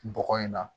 Bɔgɔ in na